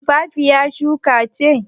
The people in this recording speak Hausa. Tumfafiya shuka ce.